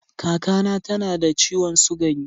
Kaka na ta na da ciwon sugari.